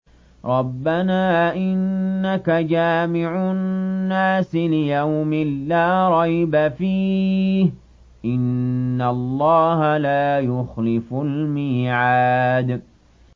رَبَّنَا إِنَّكَ جَامِعُ النَّاسِ لِيَوْمٍ لَّا رَيْبَ فِيهِ ۚ إِنَّ اللَّهَ لَا يُخْلِفُ الْمِيعَادَ